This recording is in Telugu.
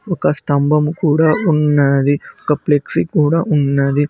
ఒక స్తంభం కూడా ఉన్నది ఒక ప్లెక్సీ కూడా ఉన్నది.